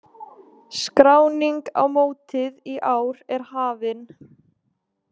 Skráning á mótið í ár er hafin.